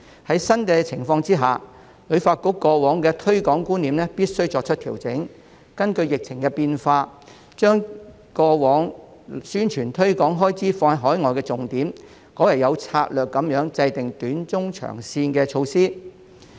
在新情況下，旅發局必須調整過往的推廣觀念，並根據疫情變化，把重點由過往的投放宣傳推廣開支到海外，改為有策略地制訂短、中、長線的措施。